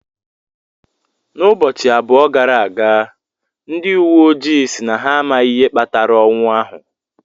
N'ubọchị abụọ gara aga, ndị uwe ojii si na amaghị ihe kpatara ọnwụ ahụ.